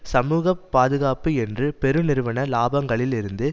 சமூகப்பாதுகாப்பு என்று பெருநிறுவன இலாபங்களில் இருந்து